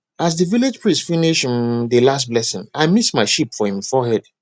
as the village priest finish um the last blessing i miss my sheep for him forehead